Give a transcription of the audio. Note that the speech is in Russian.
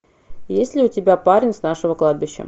есть ли у тебя парень с нашего кладбища